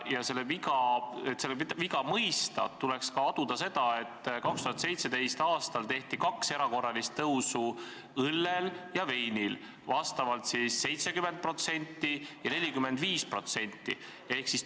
Ja et seda viga mõista, tuleks ka aduda seda, et 2017. aastal tõsteti erakorraliselt kaks korda õlle- ja veiniaktsiisi: vastavalt 70% ja 45%.